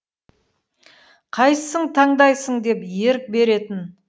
қайсысың таңдайсың деп ерік беретін